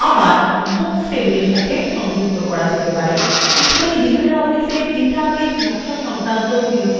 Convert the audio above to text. এখানেই libreoffice database design সংক্রান্ত tutorialএর প্রথম ভাগ সমাপ্ত হলো